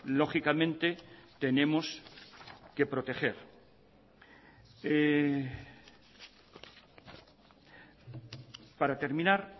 lógicamente tenemos que proteger para terminar